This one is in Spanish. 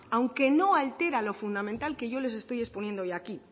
aunque no altera lo fundamental que yo les estoy exponiendo yo aquí